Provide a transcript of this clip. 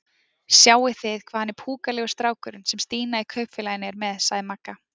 Sjáið þið hvað hann er púkalegur strákurinn sem Stína í Kaupfélaginu er með? sagði Magga.